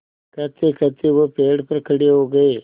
कहतेकहते वह पेड़ पर खड़े हो गए